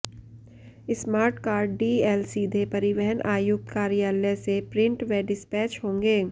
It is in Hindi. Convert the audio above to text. स्मार्ट कार्ड डीएल सीधे परिवहन आयुक्त कार्यालय से प्रिंट व डिस्पैच होंगे